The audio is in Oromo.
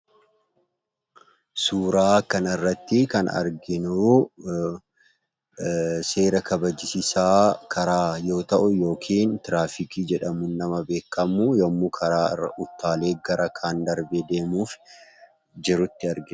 Suuraa kanarratti kan arginu, seera kabajchiisaa karaa yookiin Tiraafikii jedhamuun nama beekamu yemmu karaarra utaalee gara kana darbee deemuuf jirutti argina.